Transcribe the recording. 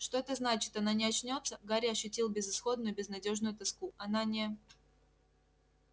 что это значит она не очнётся гарри ощутил безысходную безнадёжную тоску она не